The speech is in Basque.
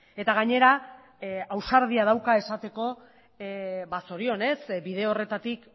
eta gainera ausardia dauka esateko ba zorionez bide horretatik